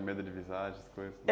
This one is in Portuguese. A medo de visagens? Essas coisas